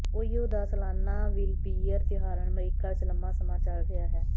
ਓਹੀਓ ਦਾ ਸਲਾਨਾ ਵਿੂਲਬੀਅਰ ਤਿਉਹਾਰ ਅਮਰੀਕਾ ਵਿਚ ਲੰਬਾ ਸਮਾਂ ਚੱਲ ਰਿਹਾ ਹੈ